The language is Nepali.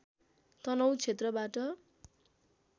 तनहुँ क्षेत्रबाट